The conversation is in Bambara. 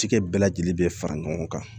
Cikɛ bɛɛ lajɛlen bɛ fara ɲɔgɔn kan